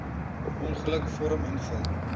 ongeluk vorm invul